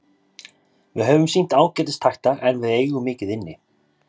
Við höfum sýnt ágætis takta en við eigum mikið inni.